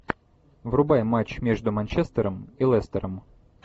врубай матч между манчестером и лестером